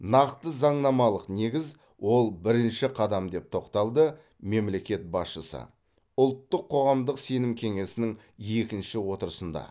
нақты заңнамалық негіз ол бірінші қадам деп тоқталды мемлекет басшысы ұлттық қоғамдық сенім кеңесінің екінші отырысында